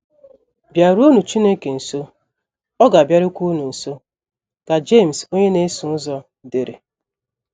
“ BỊARUONỤ Chineke nso, Ọ ga - abịarukwa unu nso, ” ka Jemes onye na - eso ụzọ dere.